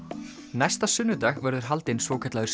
næsta sunnudag verður haldinn svokallaður